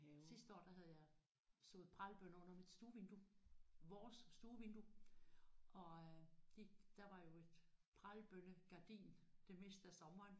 Sidste år der havde jeg sået pralbønner under mit stuevindue. Vores stuevindue. Og øh de der var jo et pralbønnegardin det meste af sommeren